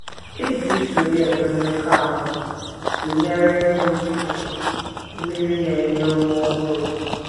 E ji iso ya enwe mmekọahụ tụnyere ịṅụ mmiri mmiri na - enye ume ọhụrụ.